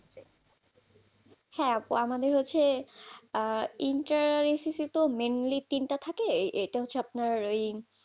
হ্যাঁ আপু, আমাদের হচ্ছে আহ inter SSC তো mainly তিনটা থাকে? এটা হচ্ছে আপনার ওই